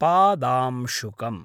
पादांशुकम्